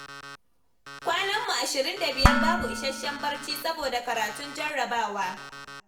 Kwananmu ashirin da biyar babu isasshen barci saboda karatun jarrabawa.